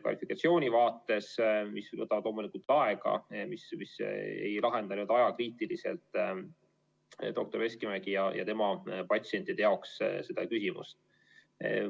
kvalifikatsiooni vaates, mis võtavad loomulikult aega ega lahenda seda küsimust ajakriitiliselt doktor Veskimäe ja tema patsientide jaoks.